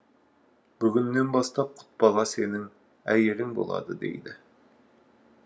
бүгіннен бастап құтбала сенің әйелің болады дейді